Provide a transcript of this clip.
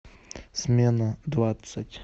смена двадцать